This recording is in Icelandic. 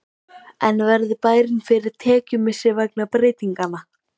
En verður bærinn fyrir tekjumissi vegna breytinganna?